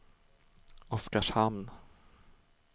Oskarshamn